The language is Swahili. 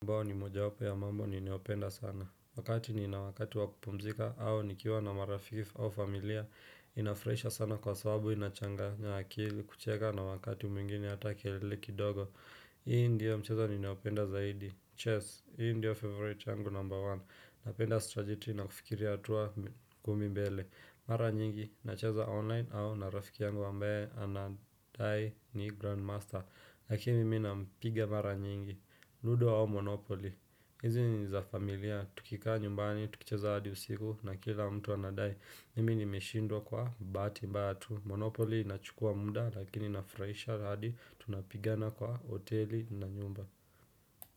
Mbao ni mojawapo ya mambo ninayopenda sana. Wakati nina wakati wa kupumzika au nikiwa na marafiki au familia inafraisha sana kwa sababu inachanganya akili kucheka na wakati mwingine hata kelele kidogo. Hii ndiyo mchezo ninayopenda zaidi. Chess, hii ndio favorite yangu number one. Napenda strategy na kufikiria hatua kumi mbele. Mara nyingi, nacheza online au na rafiki yangu ambaye anadai ni grandmaster. Lakini mimi nampiga mara nyingi. Ludo au Monopoly, hizi ni za familia, tukikaa nyumbani, tukicheza hadi usiku na kila mtu anadai, mimi nimeshindwa kwa bahati mbaya tu, Monopoly inachukua muda lakini inafuraisha hadi, tunapigana kwa hoteli na nyumba.